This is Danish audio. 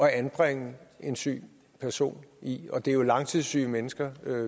at anbringe en syg person i og det er jo langtidssyge mennesker